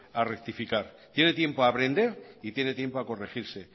a rectificar tiene tiempo a aprender y tiene tiempo a corregirse